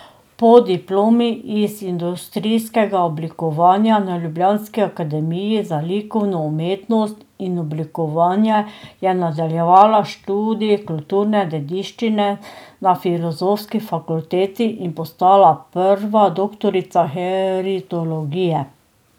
Po diplomi iz industrijskega oblikovanja na ljubljanski akademiji za likovno umetnost in oblikovanje je nadaljevala študij kulturne dediščine na filozofski fakulteti in postala prva doktorica heritologije.